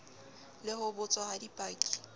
le ho botswa ha dipaki